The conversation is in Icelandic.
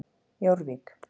Jórvík